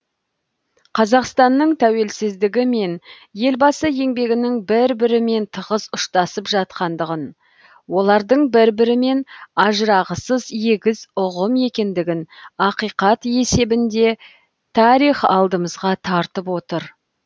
қазақстанның тәуелсіздігі мен елбасы еңбегінің бір бірімен тығыз ұштасып жатқандығын олардың бір бірімен ажырағысыз егіз ұғым екендігін ақиқат есебінде тарих алдымызға тартып отыр